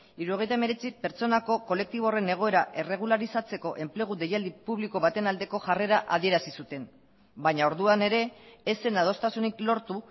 hirurogeita hemeretzi pertsonako kolektiboko egoera erregularizatzeko enplegu deialdi publiko baten aldeko jarrera adierazi zuten baina orduan ere ez zen adostasunik lortu